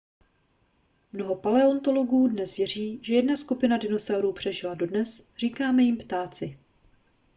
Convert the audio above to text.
mnoho paleontologů dnes věří že jedna skupina dinosaurů přežila dodnes říkáme jim ptáci